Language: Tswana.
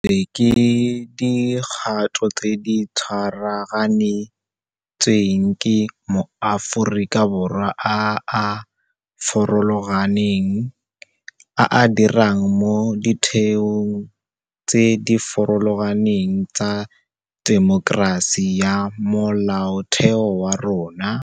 Di emisitswe ke dikgato tse di tshwaraganetsweng ke maAforika Borwa a a farologaneng, a a dirang mo ditheong tse di farologaneng tsa temokerasi ya molaotheo wa rona.